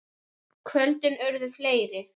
Kvöldin urðu fleiri.